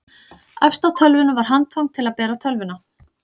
efst á tölvunni var handfang til að bera tölvuna